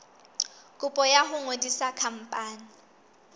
kopo ya ho ngodisa khampani